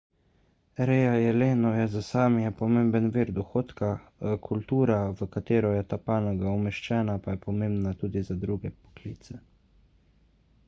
reja jelenov je za sámije pomemben vir dohodka kultura v katero je ta panoga umeščena pa je pomembna tudi za druge poklice